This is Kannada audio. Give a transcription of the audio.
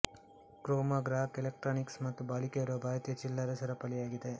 ಕ್ರೋಮಾ ಗ್ರಾಹಕ ಎಲೆಕ್ಟ್ರಾನಿಕ್ಸ್ ಮತ್ತು ಬಾಳಿಕೆ ಬರುವ ಭಾರತೀಯ ಚಿಲ್ಲರೆ ಸರಪಳಿಯಾಗಿದೆ